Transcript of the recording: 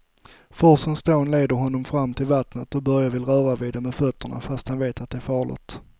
Forsens dån leder honom fram till vattnet och Börje vill röra vid det med fötterna, fast han vet att det är farligt.